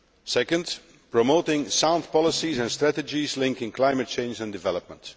Second, promoting sound policies and strategies linking climate change and development.